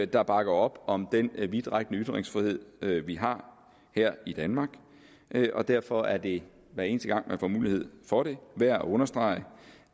der bakker op om den vidtrækkende ytringsfrihed vi har her i danmark og derfor er det hver eneste gang man får mulighed for det værd at understrege